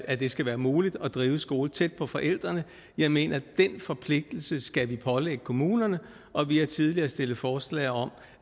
at det skal være muligt at drive skole tæt på forældrene jeg mener at den forpligtelse skal vi pålægge kommunerne og vi har tidligere stillet forslag om